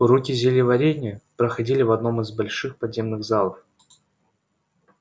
уроки зельеварения проходили в одном из больших подземных залов